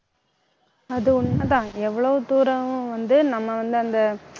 அது உண்மைதான், எவ்வளவு தூரம் வந்து, நம்ம வந்து அந்த